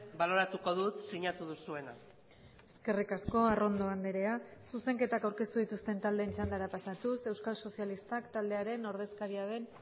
baloratuko dut sinatu duzuena eskerrik asko arrondo andrea zuzenketak aurkeztu dituzten taldeen txandara pasatuz euskal sozialistak taldearen ordezkaria den